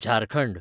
Jharkhand